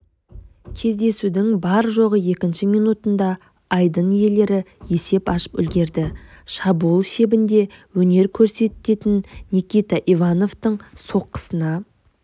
кездесудің бар-жоғы екінші минутында айдын иелері есеп ашып үлгерді шабуыл шебінде өнер көрсететін никита ивановтың соққысына